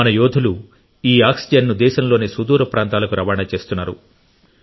మన యోధులు ఈ ఆక్సిజన్ను దేశంలోని సుదూర ప్రాంతాలకు రవాణా చేస్తున్నారు